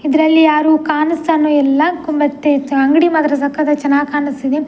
ಇದ್ರಲ್ಲಿ ಯಾರು ಕಾಣಿಸ್ತಾನೂ ಇಲ್ಲ ಕು ಮತ್ತೆ ಅಂಗಡಿ ಮಾತ್ರ ಸಕತ್ತಾಗಿ ಚೆನ್ನಾಗ್‌ ಕಾಣಿಸ್ತಾ ಇದೆ .